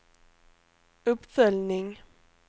uppföljning